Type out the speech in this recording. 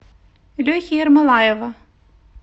лехи ермолаева